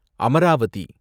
Amaravathi